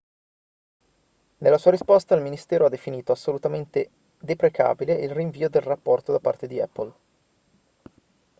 nella sua risposta il ministero ha definito assolutamente deprecabile il rinvio del rapporto da parte di apple